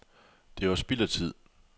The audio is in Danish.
Det var spild af tid.